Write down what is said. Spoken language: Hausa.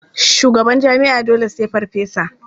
Shugaban jami'a dole sai farfesa.